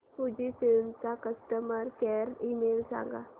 Fujifilm चा customer care email सांगा